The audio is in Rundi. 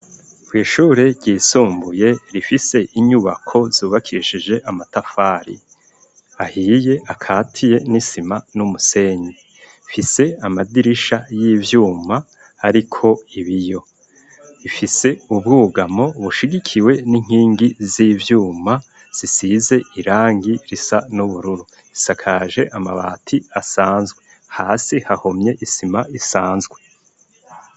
Kw' ishure ryisumbuye rifise inyubako zubakishije amatafari ahiye akatiye n'isima n'umusenyi fise amadirisha y'ivyuma ariko ibiyo ifise ubwugamo bushigikiwe n'inkingi z'ivyuma zsize irangi risa n'ubururu isakaje amabati asanzwe hasi hahomye isima isanzwe.